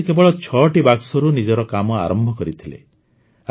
ଏହାପରେ ସେ କେବଳ ଛଅଟି ବାକ୍ସରୁ ନିଜର କାମ ଆରମ୍ଭ କରିଥିଲେ